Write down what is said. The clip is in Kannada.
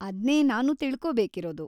ಅದ್ನೇ ನಾನೂ ತಿಳ್ಕೋಬೇಕಿರೋದು.